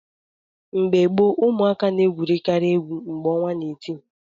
Mgbe gboo, ụmụaka na-egwukarị egwu mgbe ọnwa na-eti.